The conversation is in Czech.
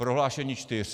Prohlášení čtyř.